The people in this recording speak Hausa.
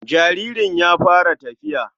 jaririn ya fara tafiya.